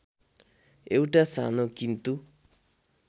एउटा सानो किन्तु